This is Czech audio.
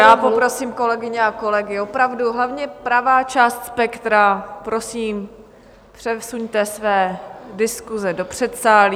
Já poprosím kolegyně a kolegy opravdu - hlavně pravá část spektra, prosím, přesuňte své diskuse do předsálí.